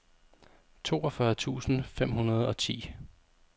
toogfyrre tusind fem hundrede og ti